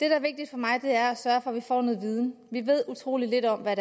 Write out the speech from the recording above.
er vigtigt for mig er at sørge for at vi får noget viden vi ved utrolig lidt om hvad